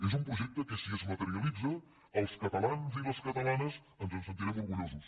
és un projecte que si es materialitza els catalans i les catalanes ens en sentirem orgullosos